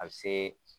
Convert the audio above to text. A bɛ se